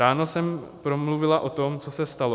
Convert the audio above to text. Ráno jsem promluvila o tom, co se stalo.